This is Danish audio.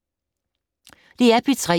DR P3